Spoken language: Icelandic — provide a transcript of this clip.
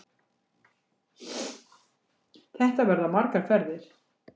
Þetta verða margar ferðir